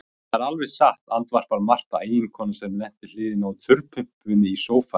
Það er alveg satt, andvarpar Marta, eiginkonan sem lenti við hliðina á þurrpumpunni í sófanum.